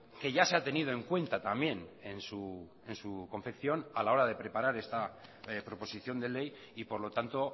que ya se ha tenido en cuenta también en su confección a la hora de preparar esta proposición de ley y por lo tanto